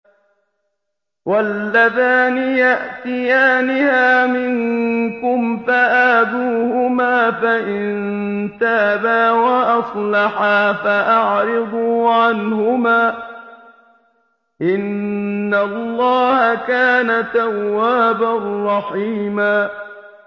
وَاللَّذَانِ يَأْتِيَانِهَا مِنكُمْ فَآذُوهُمَا ۖ فَإِن تَابَا وَأَصْلَحَا فَأَعْرِضُوا عَنْهُمَا ۗ إِنَّ اللَّهَ كَانَ تَوَّابًا رَّحِيمًا